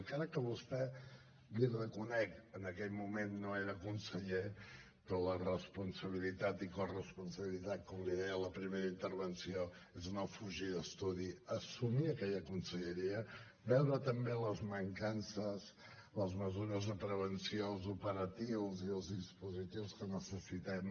encara que vostè l’hi reconec en aquell moment no era conseller però la responsabilitat i la corresponsabilitat com li deia en la primera intervenció és no fugir d’estudi assumir aquella conselleria veure també les mancances les mesures de prevenció els operatius i els dispositius que necessitem